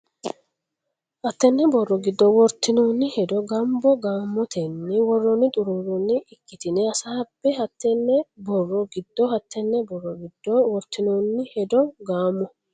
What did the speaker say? hattenne borro giddo wortinoonni hedo gaamo gaamotenni woroonni xuruuroonni ikkitine hasaabbe hattenne borro giddo hattenne borro giddo wortinoonni hedo gaamo.